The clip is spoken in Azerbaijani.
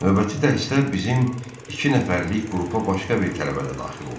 Növbəti dərsdə bizim iki nəfərlik qrupa başqa bir tələbə də daxil oldu.